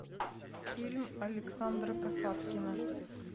фильм александра касаткина